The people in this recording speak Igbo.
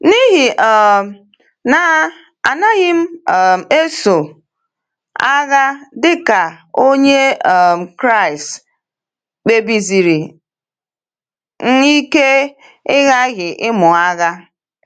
N’ihi um na anaghị m um eso agha dịka Onye um Kraịst, kpebisiri m ike ịghaghị ịmụ agha.